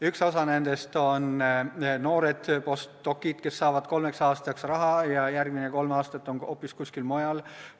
Üks osa nendest on noored postdoc'id, kes saavad kolmeks aastaks raha ja järgmised kolm aastat on hoopis kuskil mujal.